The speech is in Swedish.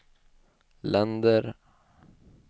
länder